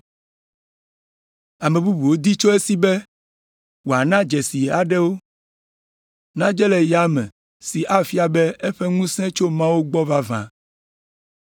Ame bubuwo di tso esi be wòana dzesi aɖewo nadze le yame si afia be eƒe ŋusẽ tso Mawu gbɔ vavã.